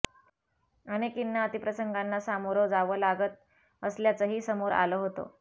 अनेकींना अतिप्रसंगाना समोरं जावं लागत असल्याचंही समोर आलं होतं